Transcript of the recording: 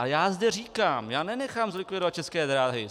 A já zde říkám: já nenechám zlikvidovat České dráhy.